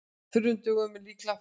Þurrum dögum mun líklega fækka